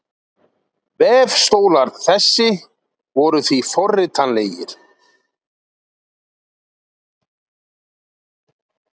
Vefstólar þessi voru því forritanlegir.